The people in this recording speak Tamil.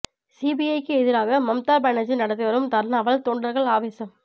சிபிஐக்கு எதிராக மமதா பானர்ஜி நடத்தி வரும் தர்ணாவால் தொண்டர்கள் ஆவேசம்